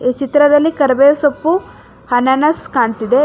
ಚಿತ್ರದಲ್ಲಿ ಕರಿಬೆವ ಸೊಪ್ಪು ಆನಾನಸ ಕಾಣ್ತಿದೆ.